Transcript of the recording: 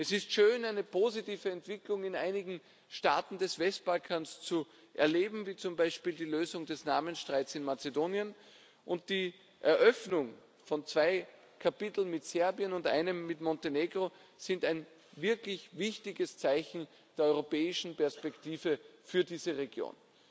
Es ist schön, eine positive Entwicklung in einigen Staaten des Westbalkans zu erleben, wie zum Beispiel die Lösung des Namensstreits in Mazedonien, und die Eröffnung von zwei Kapiteln mit Serbien und einem mit Montenegro ist ein wirklich wichtiges Zeichen der europäischen Perspektive für diese Region.